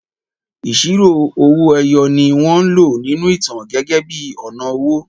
Ìṣirò owo-eyoni wọ́n lò nínú ìtàn gẹ́gẹ́ bí ọ̀nà owó.